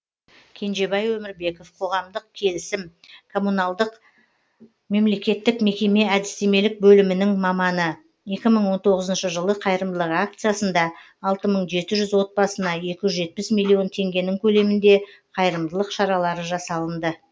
кенжебай өмірбеков қоғамдық келісім коммуналдық мемлекеттік мекеме әдістемелік бөлімінің маманы екі мың он тоғызыншы жылы қайырымдылық акциясында алты мың жеті жүз отбасына екі жүз жетпіс миллион теңгенің көлемінде қайырымдылық шаралары жасалынды